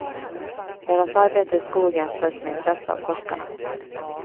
Deras arbete i skogen följs med intresse av forskarna.